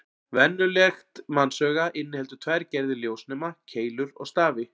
Venjulegt mannsauga inniheldur tvær gerðir ljósnema: Keilur og stafi.